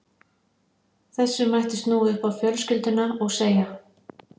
Þessu mætti snúa upp á fjölskylduna og segja